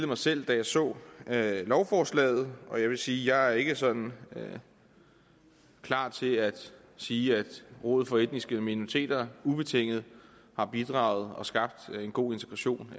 mig selv da jeg så lovforslaget og jeg vil sige at jeg ikke sådan er klar til at sige at rådet for etniske minoriteter ubetinget har bidraget og skabt en god integration